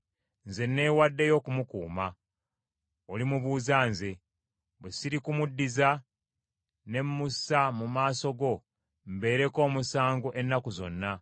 Nze newaddeyo okumukuuma, olimubuuza nze. Bwe sirikumuddiza, ne mussa mu maaso go mbeereko omusango ennaku zonna.